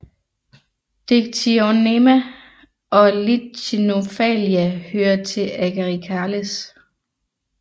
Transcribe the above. Dictyonema og Lichenomphalia hører til Agaricales